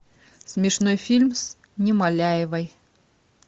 смешной фильм с немоляевой